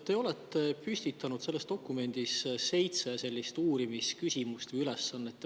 Te olete püstitanud selles dokumendis seitse uurimisküsimust või ülesannet.